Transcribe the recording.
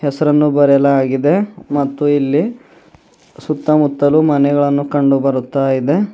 ಹೆಸರನ್ನು ಬರೆಯಲಾಗಿದೆ ಮತ್ತು ಇಲ್ಲಿ ಸುತ್ತಮುತ್ತಲು ಮನೆಗಳನ್ನು ಕಂಡು ಬರುತ್ತಾ ಇದೆ.